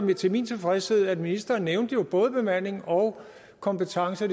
jeg til min tilfredshed at ministeren nævnte at både bemanding og kompetencer